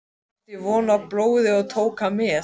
Ég átti von á blóði og tók hann með.